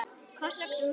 Koss og knús.